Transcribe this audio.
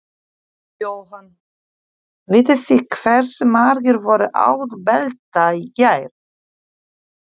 Jóhann: Vitið þið hversu margir voru án belta í gær?